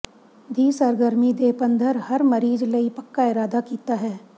ਦੀ ਸਰਗਰਮੀ ਦੇ ਪੱਧਰ ਹਰ ਮਰੀਜ਼ ਲਈ ਪੱਕਾ ਇਰਾਦਾ ਕੀਤਾ ਹੈ